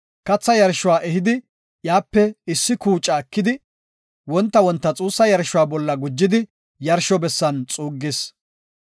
Katha yarshuwa ehidi, iyape issi kuuca ekidi, wonta wonta xuussa yarshuwa bolla gujidi yarsho bessan xuuggis.